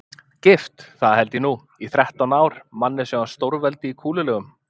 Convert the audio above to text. Gift, það held ég nú, í þrettán ár, manni sem var stórveldi í kúlulegum.